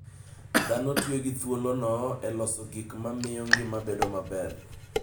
Dhano tiyo gi thuolono e loso gik ma miyo ngima bedo maber.